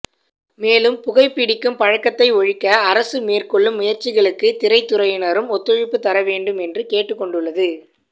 மேலும் புகை பிடிக்கும் பழக்கத்தை ஒழிக்க அரசு மேற்கொள்ளும் முயற்சிகளுக்கு திரைத்துறையினரும் ஒத்துழைப்பு தர வேண்டும் என்று கேட்டுக் கொண்டுள்ளது